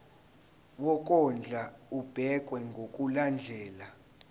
wokondla ubekwa ngokulandlela